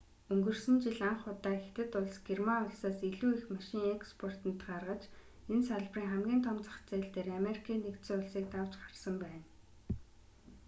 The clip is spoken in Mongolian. өнгөрсөн жил анх удаа хятад улс герман улсаас илүү их машин экспортод гаргаж энэ салбарын хамгийн том зах зээл дээр америкийн нэгдсэн улсыг давж гарсан байна